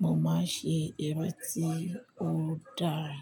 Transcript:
mo máa ń ṣe eré tí ó dára.